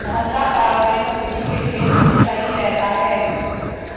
मोहल्ला पड़ाव में गंदगी के ढेर हमेशा ही रहता है